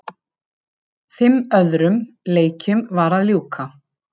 Fimm öðrum leikjum var að ljúka